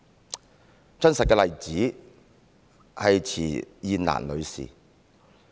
一個真實的例子是池燕蘭女士。